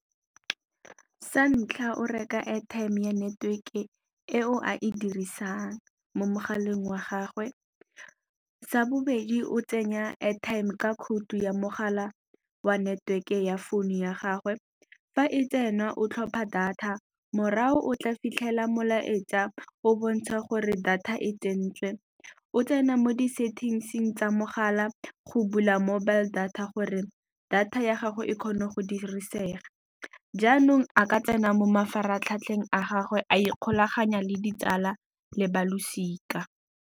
Sa ntlha o reka airtime ya network-e e o a e dirisang mo mogaleng wa gagwe. Sa bobedi o tsenya airtime ka khoutu ya mogala wa network ya phone ya gagwe fa e tsena o tlhopha data morago o tla fitlhela molaetsa o bontsha gore data e tsentswe, o tsena mo di-settings-ing tsa mogala la wa go bula mobile data gore data ya gago e kgone go dirisega, jaanong a ka tsena mo mafaratlhatlheng a gagwe a ikgolaganya le ditsala le ba losika.